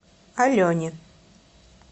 алене